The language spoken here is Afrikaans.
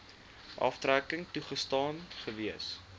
aftrekking toegestaan gewees